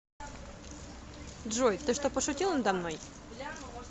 джой ты что пошутил надо мной